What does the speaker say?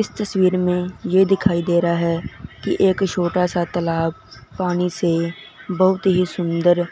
इस तस्वीर में ये दिखाई दे रहा है कि एक छोटा सा तालाब पानी से बहुत ही सुन्दर